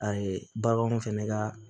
A ye baganw fɛnɛ ka